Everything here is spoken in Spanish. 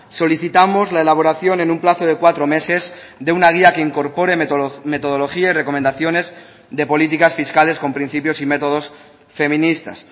solicitamos la elaboración en un plazo de cuatro meses de una guía que incorpore metodología y recomendaciones de políticas fiscales con principios y métodos feministas